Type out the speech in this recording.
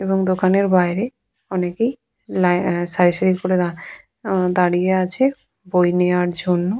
এবং দোকানের বাইরে অনেকেই লাই অ্যা সারি সারি করে দাঁ আ দাঁড়িয়ে আছে বই নেওয়ার জন্য।